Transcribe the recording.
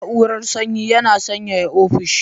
Na'urar Sanyi yana sanyaya offishi